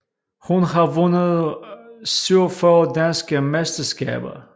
Hun har vundet 47 danske mesterskaber